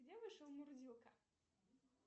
где вышел мурзилка